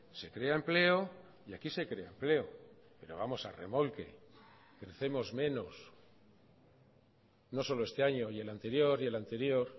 se crea empleo y aquí se crea empleo pero vamos a remolque crecemos menos no solo este año y el anterior y el anterior